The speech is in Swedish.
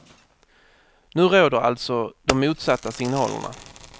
Nu råder alltså de motsatta signalerna.